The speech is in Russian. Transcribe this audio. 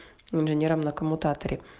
миллионером на коммутаторе